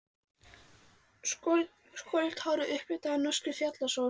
Skolleitt hárið upplitað af norskri fjallasól.